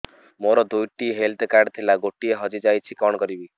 ମୋର ଦୁଇଟି health card ଥିଲା ଗୋଟିଏ ହଜି ଯାଇଛି କଣ କରିବି